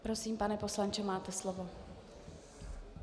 Prosím, pane poslanče, máte slovo.